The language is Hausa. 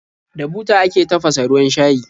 Da buta ake tafasa ruwan shayi.